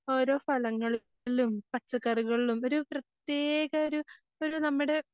ഓരോ ഫലങ്ങളിലും